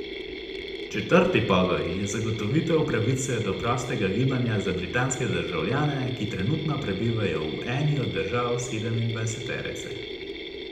Četrti pogoj je zagotovitev pravice do prostega gibanja za britanske državljane, ki trenutno prebivajo v eni od držav sedemindvajseterice.